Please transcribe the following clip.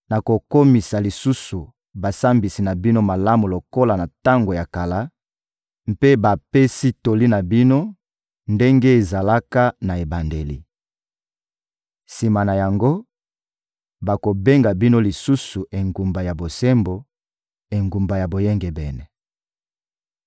nakokomisa lisusu basambisi na bino malamu lokola na tango ya kala; mpe bapesi toli na bino, ndenge ezalaka na ebandeli. Sima na yango, bakobenga bino lisusu Engumba ya Bosembo, Engumba ya Boyengebene.